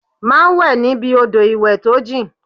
Má wẹ̀ níbi odò ìwẹ̀ tó jìn!